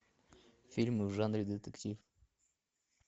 фильмы в жанре детектив